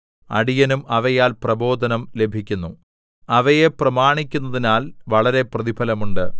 അടിയനും അവയാൽ പ്രബോധനം ലഭിക്കുന്നു അവയെ പ്രമാണിക്കുന്നതിനാൽ വളരെ പ്രതിഫലം ഉണ്ട്